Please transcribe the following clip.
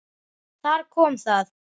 Þar kom það.